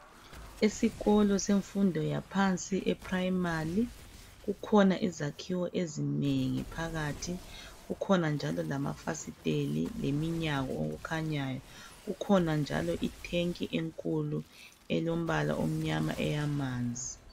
Esikolo semfundo yaphansi, eprimary kukhona izakhiwo ezinengi phakathi kukhona njalo lamafasiteli leminyango okukhanyayo. Kukhona njalo itank enkulu elombala omnyama eyamanzi.